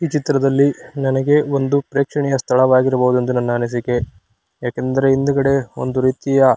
ಈ ಚಿತ್ರದಲ್ಲಿ ನನಗೆ ಒಂದು ಪ್ರೇಕ್ಷಣೀಯ ಸ್ಥಳವಾಗಿರಬಹುದೆಂದು ನನ್ನ ಅನಿಸಿಕೆ ಯಾಕಂದ್ರೆ ಹಿಂದೆ ಒಂದು ರೀತಿಯ --